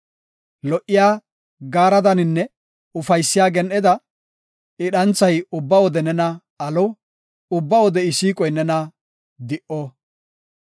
Lo77iya gaaredaninne ufaysiya gen7eda I dhanthay ubba wode nena alo; ubba wode I siiqoy nena di77o.